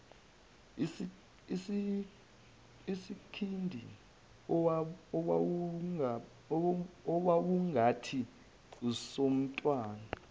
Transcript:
isikhindi owawungathi esomntwana